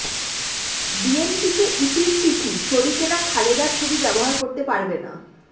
বিএনপিকে ইসির চিঠি শরিকেরা খালেদার ছবি ব্যবহার করতে পারবে না